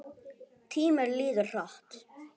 Tíminn líður hratt.